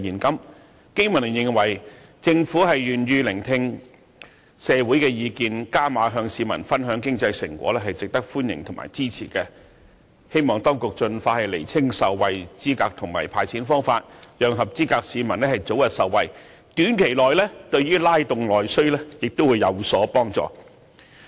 經民聯認為，政府願意聆聽社會的意見，"加碼"與市民分享經濟成果，是值得歡迎和支持，希望當局盡快釐清受惠資格和"派錢"方法，讓合資格市民早日受惠，短期內對於拉動內需亦有所幫助。